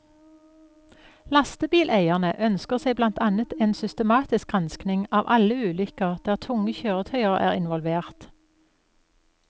Lastebileierne ønsker seg blant annet et systematisk granskning av alle ulykker der tunge kjøretøyer er involvert.